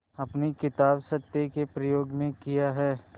अपनी किताब सत्य के प्रयोग में किया है